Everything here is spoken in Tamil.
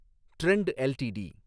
trend LTD